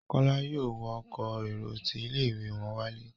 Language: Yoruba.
Kola yóò wọ Ọkọ̀ èrò tí ilé-ìwé wón wale.